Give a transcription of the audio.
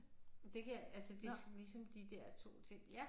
Det kan jeg altså det ligesom de der 2 ting